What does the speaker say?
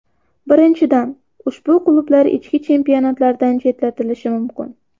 Birinchidan, ushbu klublar ichki chempionatlardan chetlatilishi mumkin.